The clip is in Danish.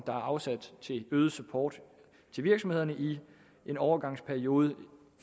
der er afsat til øget support til virksomhederne i en overgangsperiode